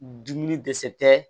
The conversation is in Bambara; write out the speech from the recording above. Dumuni dɛsɛ tɛ